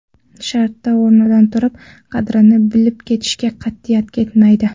Shartta o‘rnidan turib, qadrini bilib ketishga qat’iyat yetmaydi.